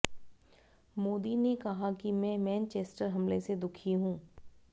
मोदी ने कहा कि मैं मैनचेस्टर हमले से दुखी हूं